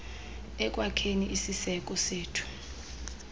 ekwakheni isiseko sethu